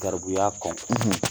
Garibuya kɔn.